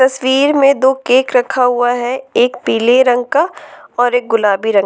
तस्वीर में दो केक रखा हुआ है एक पीले रंग का और एक गुलाबी रंग--